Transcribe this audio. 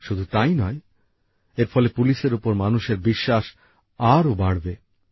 শুধু তাই নয় এর ফলে পুলিশের ওপর মানুষের বিশ্বাস আরও বাড়বে